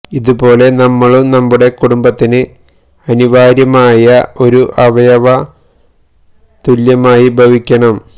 ഇതുപോലെ നമ്മളും നമ്മളുടെ കുടുംബത്തിന് അനിവാര്യമായ ഒരു അവയവ തുല്യമായി ഭവിക്കണം